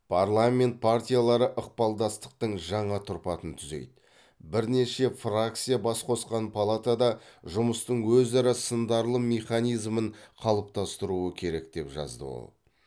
парламент партиялары ықпалдастықтың жаңа тұрпатын түзейді бірнеше фракция бас қосқан палатада жұмыстың өзара сындарлы механизмін қалыптастыруы керек деп жазды ол